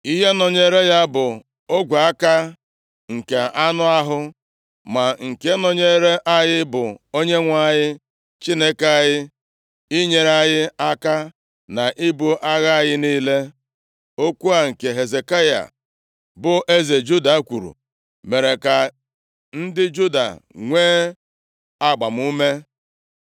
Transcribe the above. Ihe nọnyere ya bụ ogwe aka nke anụ ahụ, ma nke nọnyere anyị bụ Onyenwe anyị, Chineke anyị, inyere anyị aka na ibu agha anyị niile.” Okwu a, nke Hezekaya bụ eze Juda kwuru, mere ka ndị Juda nwee agbamume.